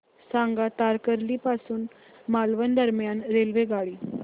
सांगा तारकर्ली पासून मालवण दरम्यान रेल्वेगाडी